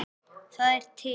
Það er til